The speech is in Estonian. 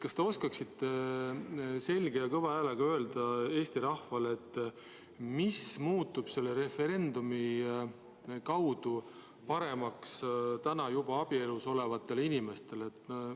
Kas te oskate selge ja kõva häälega öelda Eesti rahvale, mis muutub selle referendumi mõjul paremaks juba abielus olevatele inimestele?